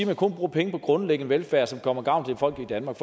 man kun bruger penge på grundlæggende velfærd som kommer folk i danmark